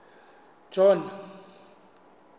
john